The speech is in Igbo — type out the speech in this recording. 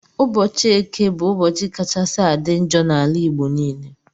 Ụbọchi eke bu ụbọchi kachasi adi njọ na ala igbo nile